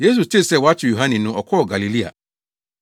Yesu tee sɛ wɔakyere Yohane no, ɔkɔɔ Galilea.